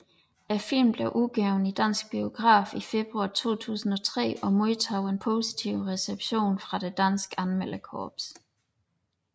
Filmen blev udgivet i danske biografer i februar 2003 og modtog en positiv reception fra det danske anmelderkorps